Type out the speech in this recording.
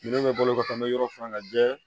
Fini bɛ bolo ka taa n bɛ yɔrɔ furan ka jɛ